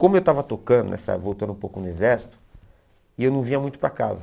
Como eu estava tocando, essa voltando um pouco no exército, e eu não vinha muito para casa.